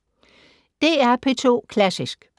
DR P2 Klassisk